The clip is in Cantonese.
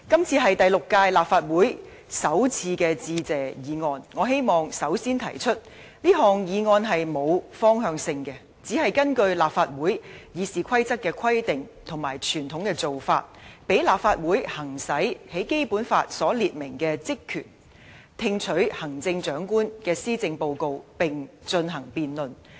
這是第六屆立法會首次的致謝議案，我希望首先提出，這項議案是並沒有方向性的，只是根據立法會《議事規則》的規定和傳統的做法而提出，讓立法會行使《基本法》所列明的職權："聽取行政長官的施政報告並進行辯論"。